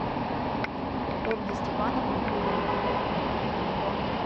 ольги степановны кудриной